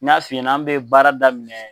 N y'a f'i ɲɛna , anw bɛ baara daminɛ